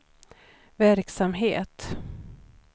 verksamhet